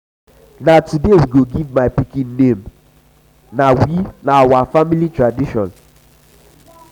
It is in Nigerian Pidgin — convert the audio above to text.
na today we go give my pikin name na we family tradition.